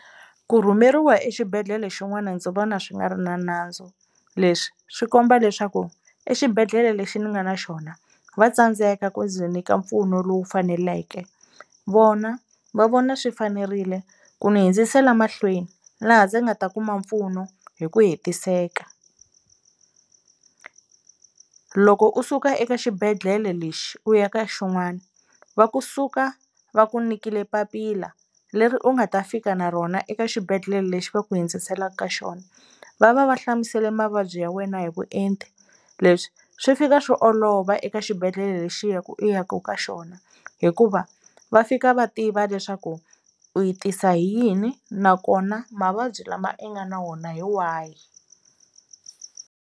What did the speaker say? Ku rhumeriwa exibedhlele xin'wana ndzi vona swi nga ri na nandzu leswi swi komba leswaku exibedhlele lexi ni nga na xona va tsandzeka ku ndzi nyika mpfuno lowu faneleke vona va vona swi fanerile ku ni hindzisela mahlweni laha ndzi nga ta kuma mpfuno hi ku hetiseka. Loko u suka eka xibedhlele lexi u ya ka xin'wana va kusuka va ku nikile papila leri u nga ta fika na rona eka xibedhlele lexi va ku hindziselaka ka xona va va va hlamusele mavabyi ya wena hi vuenti leswi swi fika swi olova va eka xibedhlele lexi u ya ku ka xona hikuva va fika va tiva leswaku u yi tisa hi yini nakona mavabyi lama i nga na wona hi wahi.